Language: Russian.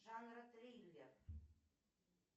жанра триллер